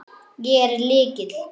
Ég er með lykil.